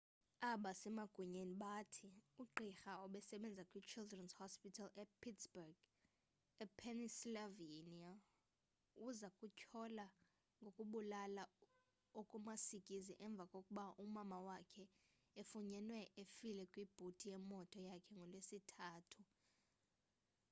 abasemagunyeni bathi ugqirha obesebenza kwichildren's hospital of pittsburgh epennsylvania uza kutyholwa ngokubulala okumasikizi emva kokuba umama wakhe efunyenwe efile kwibhuti yemoto yakhe ngolwesithathu